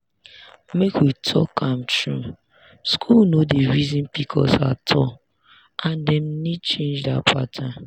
make we talk am true school no dey reason pcos at all and dem need change that pattern.